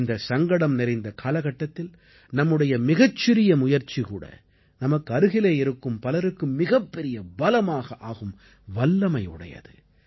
இந்தச் சங்கடம் நிறைந்த காலகட்டத்தில் நம்முடைய மிகச்சிறிய முயற்சிகூட நமக்கு அருகிலே இருக்கும் பலருக்கு மிகப்பெரிய பலமாக ஆகும் வல்லமை உடையது